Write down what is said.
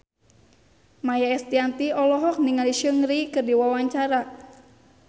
Maia Estianty olohok ningali Seungri keur diwawancara